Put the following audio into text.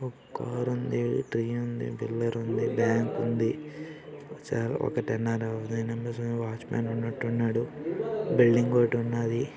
ఒక్కార్ ఉంది. బ్యాంక్ ఉంది. ఒక వాచ్ మెన్ ఉన్నట్టున్నాడు. బిల్డింగ్ ఒకటున్నాది.